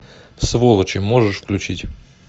сволочи можешь включить